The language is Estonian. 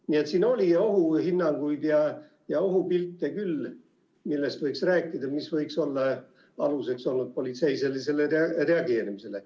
Nii et siin oli ohuhinnanguid ja ohupilte küll, millest võiks rääkida ja mis võiks olla aluseks politsei sellisele reageerimisele.